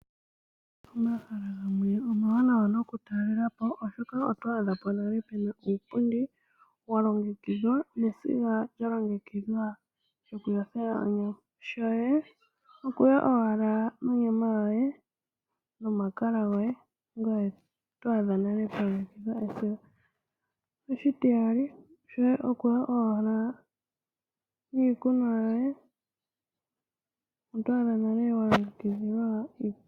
Omahala gamwe omawanawa nokutalelapo oshoka otwaadha po nale puna uupundi walongekidhwa nesiga lyalongekidhwa lyokuyothela onyama. Shoye okuya owala nonyama yoye nomakala goye, ngoye twaadha nale pwa longekidhilwa esiga . Oshitiyali, shoye okuya owala niikunwa yoye otwaadha nale walongekidhilwa uupundi.